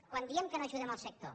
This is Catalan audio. quan diem que no ajudem el sector